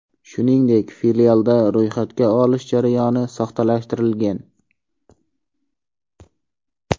Shuningdek, filialda ro‘yxatga olish jarayoni soxtalashtirilgan.